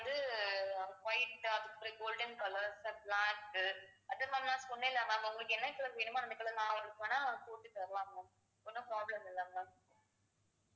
வந்து white அதுக்கப்புறம் golden colors black உ அதும் சொன்னேன்ல ma'am உங்களுக்கு என்ன color வேணுமோ அந்த color நான் உங்களுக்கு வேணா போட்டு தருவாங்க ஒண்ணும் problem இல்ல ma'am